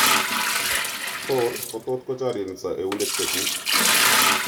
Koor, kotot kochorireso eunek chekuk